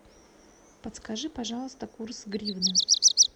подскажи пожалуйста курс гривны